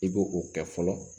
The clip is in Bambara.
I b'o o kɛ fɔlɔ